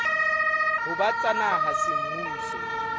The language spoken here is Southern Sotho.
ho ba tsa naha semmuso